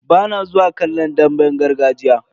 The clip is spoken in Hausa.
Bana zuwa kallon damben gargajiya.